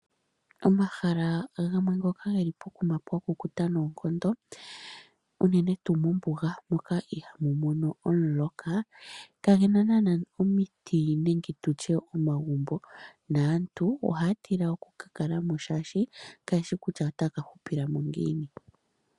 Omahala gamwe ngoka geli pokuma pwa kukuta noonkondo, unene tuu mombuga moka ihaamu mono omuloka, kagena naana omiti nenge tutye omagumbo. Naantu ohaya tila okuka kalamo, oshoka kayeshi kutya otaya ka hupilamo ngiini.